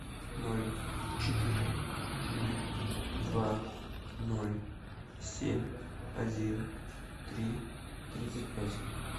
ноль четыре ноль два ноль семь один три тридцать пять